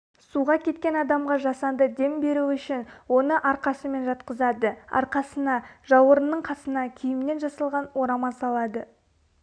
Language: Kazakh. суға кеткен адамға жасанды дем беруүшін оны арқасымен жатқызады арқасына жауырынның қасына киімнен жасалған орама салады